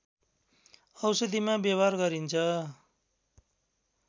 औषधिमा व्यवहार गरिन्छ